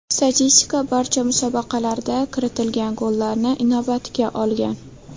Statistika barcha musobaqalarda kiritilgan gollarni inobatga olgan.